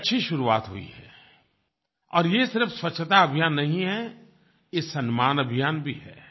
एक अच्छी शुरुआत हुई है और ये सिर्फ़ स्वच्छता अभियान नहीं है ये सम्मान अभियान भी है